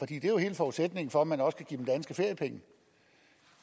det er jo hele forudsætningen for at man også kan give dem danske feriepenge